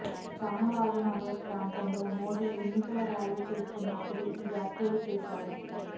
చామరాజనగర్ ప్రాంతంలో మోదీ ఎన్నికల ర్యాలీ చేస్తున్నప్పుడు ఈ వ్యాఖ్యలు చేశారు